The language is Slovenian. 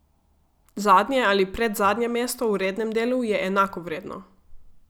Zadnje ali predzadnje mesto v rednem delu je enako vredno.